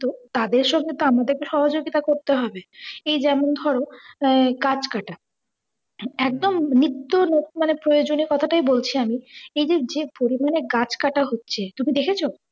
তাদের সঙ্গে তো আমাদেরকেও সহযোগিতা করতে হবে। এই যেমন ধরো গাছ কাঁটা, একদম নিত্য প্রয়জনের কথাটাই বলছি আমি এই যে যে পরিমানে গাছ কাঁটা হচ্ছে তুমি দেখেছো